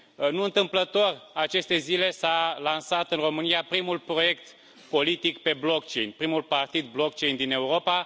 Nu întâmplător, în aceste zile s a lansat în România primul proiect politic pe blockchain primul partid blockchain din Europa.